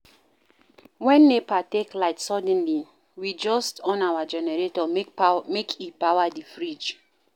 Wen NEPA take light suddenly, we just on our generator make e power di fridge.